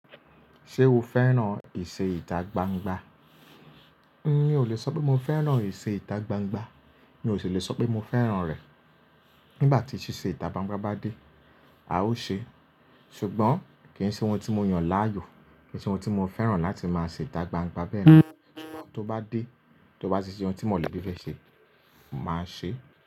Ṣé o fẹ́ràn ìṣe ìtagbangba? Mi o lè sọ pé mo fẹ́ràn ìṣe ìtagbangba, mi ò sì lè sọ pé mò fẹ́ràn rẹ̀. Nígbà tí ṣíṣe ìtagbangba bá dé, a ó ṣe é. Ṣùgbọ́n kì í ṣe ohun tí mo yàn láàyò, kì í ṣe ohun tí mo fẹ́ràn láti máa ṣe ìtagbangba bẹ́ẹ̀. Ṣùgbọ́n tó bá dé, tó bá ti ṣe ohun tí mọ̀lẹ́bí fẹ́ ṣe, máa ṣe é.